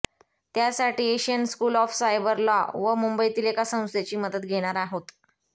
त्यासाठी Asian School of Cyber Law व मुंबईतील एका संस्थेची मदत घेणार आहोत